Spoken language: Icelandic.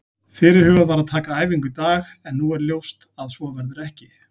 Fyrirhugað var að taka æfingu í dag en nú er ljóst að svo verður ekki.